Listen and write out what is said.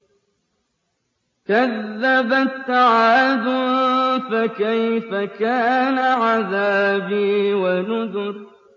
كَذَّبَتْ عَادٌ فَكَيْفَ كَانَ عَذَابِي وَنُذُرِ